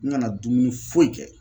N kana dumuni foyi kɛ